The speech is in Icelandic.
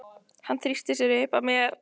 Hann þrýstir sér upp að mér.